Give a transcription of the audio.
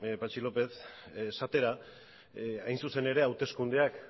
patxi lópez esatera hain zuzen ere hauteskundeak